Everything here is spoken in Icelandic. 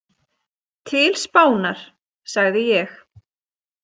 Til Spánar, sagði ég.